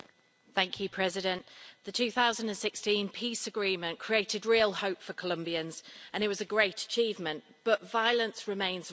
Mr President, the 2016 peace agreement created real hope for Colombians and it was a great achievement, but violence remains rife.